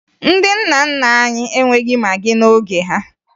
Ndị nna nna anyị enweghi magị n'oge ha